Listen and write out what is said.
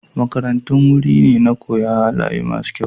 Makarantun wuri ne na koya halaye masu kyau.